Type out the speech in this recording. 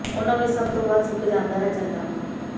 ਉਨ੍ਹਾਂ ਵਿਚ ਸਭ ਤੋਂ ਵੱਧ ਸੁੱਕ ਜਾਂਦਾ ਹੈ ਚੰਦਰਮਾ